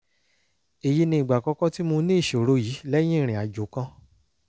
èyí ni ìgbà àkọ́kọ́ tí mo ní ìṣòro yìí lẹ́yìn ìrìn àjò kan